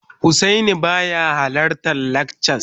Husaini baya halartar lakcas